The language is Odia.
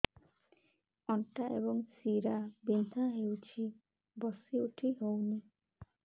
ଅଣ୍ଟା ଏବଂ ଶୀରା ବିନ୍ଧା ହେଉଛି ବସି ଉଠି ହଉନି